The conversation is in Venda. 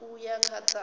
ṋ a uya kha dza